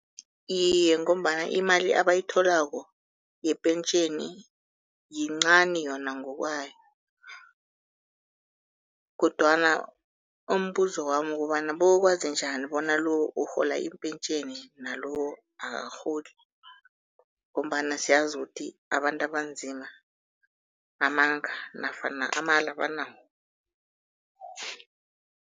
Iye, ngombana imali abayitholako yepentjheni yincani yona ngokwayo, kodwana umbuzo wami kukobana bayokwazi njani bona urhola impentjheni nalo akarholi? Ngombana siyazi ukuthi abantu abanzima amanga nafana amala banawo.